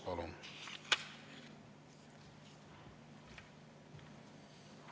Palun!